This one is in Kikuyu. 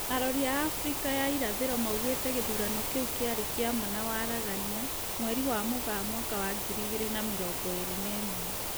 Arori a Afrika ya irathĩro maugĩte gĩthurano kĩu kĩarĩ kĩa ma na waragania, mweri wa Mũgaa mwaka wa ngiri igĩrĩ na mĩrongo ĩrĩ na ĩmwe